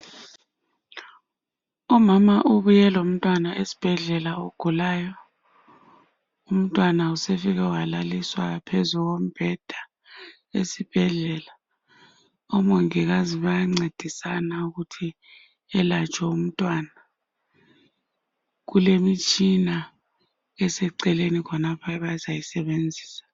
Umama ubuye lomntwana esibhedlela ogulayo umntwana usefike walaliswa phezu kombhenda esibhedlela ,omongikazi bayancedisana ukuthi elatshwe umntwana kulemitshina eseceleni khonapha abazayisebenzisa.